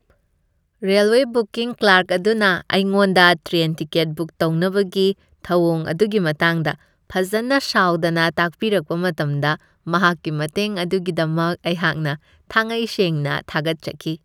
Railway booking clerk ꯑꯗꯨꯅ ꯑꯩꯉꯣꯟꯗ train ticket book ꯇꯧꯅꯕꯒꯤ ꯊꯧꯋꯣꯡ ꯑꯗꯨꯒꯤ ꯃꯇꯥꯡꯗ ꯐꯖꯟꯅ ꯁꯥꯎꯗꯅ ꯇꯥꯛꯄꯤꯔꯛꯄ ꯃꯇꯝꯗ ꯃꯍꯥꯛꯀꯤ ꯃꯇꯦꯡ ꯑꯗꯨꯒꯤꯗꯃꯛ ꯑꯩꯍꯥꯛꯅ ꯊꯥꯉꯩꯁꯦꯡꯅ ꯊꯥꯒꯠꯆꯈꯤ ꯫